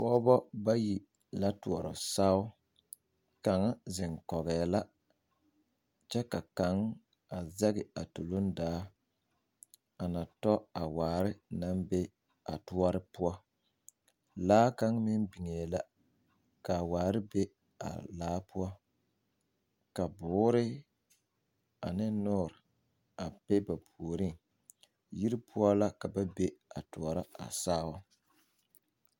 Pɔgebɔ bayi la toɔrɔ sao kaŋ zeŋ kɔŋɛɛ kyɛ ka kaŋa zɛge a tuluŋ daa a na tɔ a waare a waare naŋ be a toɔre poɔ poɔ laa meŋ biŋee la ka waare be a laa poɔ ka boore ane nɔɔre a be ba puoriŋ yiri poɔ la ka ba be a toɔrɔ a sao.